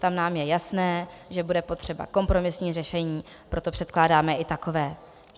Tam nám je jasné, že bude potřeba kompromisní řešení, proto předpokládáme i takové.